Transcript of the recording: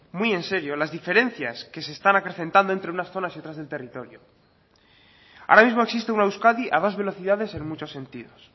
muy en serio las diferencias que se están acrecentando entre unas zonas y otras del territorio ahora mismo existe una euskadi a dos velocidades en muchos sentidos